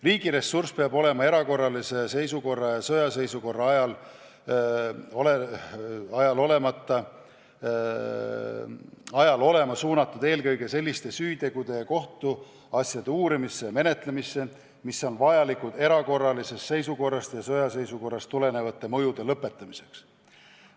Riigi ressurss peab erakorralise seisukorra ja sõjaseisukorra ajal olema suunatud eelkõige selliste süütegude ja kohtuasjade uurimisse ja menetlemisse, mis on vajalikud erakorralisest seisukorrast ja sõjaseisukorrast tuleneva mõju lõpetamiseks.